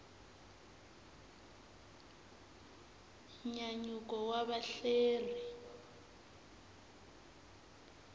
nyanyuko wa vahelleri